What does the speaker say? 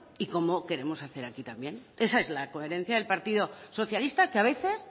y como queremos hacer aquí también esa es la coherencia del partido socialista que a veces